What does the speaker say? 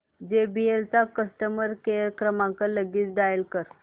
JBL चा customer care क्रमांक लगेच डायल कर